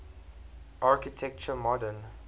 architecture modern